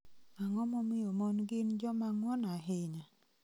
Ang�o momiyo mon gin joma ng�won ahinya?